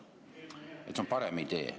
See on parem idee.